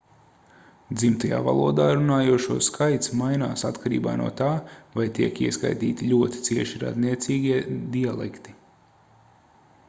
dzimtajā valodā runājošo skaits mainās atkarībā no tā vai tiek ieskaitīti ļoti cieši radniecīgie dialekti